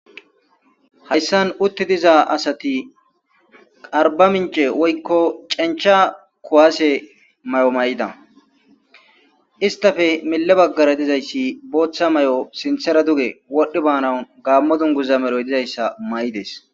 hayssan utti diza asati qarba mince woykko cencha kuwaase may7o may7ida istafe mile baggara dizayssi booththa may7o sinthera duge wodhdhi baanan gaammodunguza meroy dizayssa may7ides